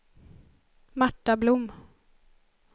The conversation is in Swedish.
Marta Blom